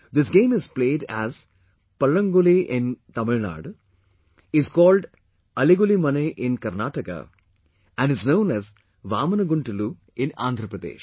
This game is played as "Pallanguli" in Tamil Nadu, is called "Ali Guli Mane" in Karnataka and is known as "VamanGuntlu" in Andhra Pradesh